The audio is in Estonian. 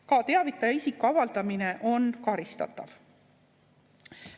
Ka teavitaja isiku avaldamine on karistatav.